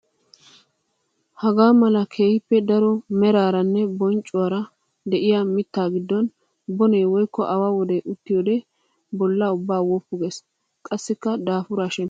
Hagaa mala keehippe daro maraaranne bonccuwara de'iya mitta giddon bone woykko awa wode uttiyoode bolla ubban woppu gees. Qassikka daafura shemppisees.